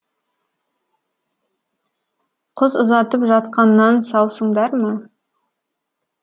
қыз ұзатып жатқаннан саусыңдар ма